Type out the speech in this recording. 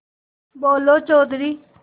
बोलो चौधरी